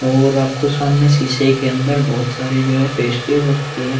और आपको सामने सीसे के अंदर बहौत सारे जो है पेस्ट्रीज और केक --